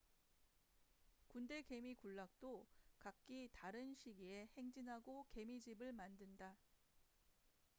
군대개미 군락도 각기 다른 시기에 행진하고 개미집을 만든다